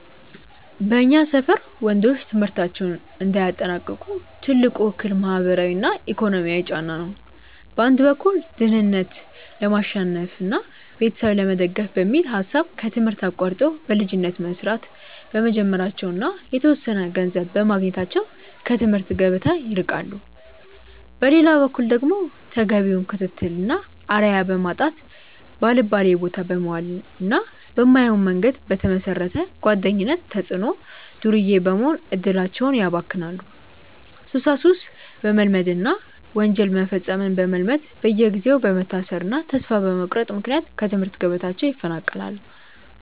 በእኛ ሰፈር ወንዶች ትምህርታቸውን እንዳያጠናቅቁ ትልቁ እክል ማህበራዊና ኢኮኖሚያዊ ጫና ነው። በአንድ በኩል ድህነትን ለማሸነፍና ቤተሰብ ለመደገፍ በሚል ሐሳብ ከትምህርት አቋርጠው በልጅነት መስራት በመጀመራቸውና የተወሰነ ገንዘብ በማግኘታቸው ከትምህርት ገበታ ይርቃሉ። በሌላ በኩል ደግሞ ተገቢውን ክትትልና አርአያ በማጣት፣ ባልባሌቦታ በመዋልና በማይሆን መንገድ በተመሰረተ ጓደኝነት ተጽዕኖ ዱርዬ በመሆን እድላቸውን ያባክናሉ፤ ሱሳሱስ በመልመድና ወንጀል መፈጸምን በመልመድ በየጊዜው በመታሰርና ተስፋ በመቁረጥ ምክንያት ከትምህርት ገበታቸው ይፈናቀላሉ።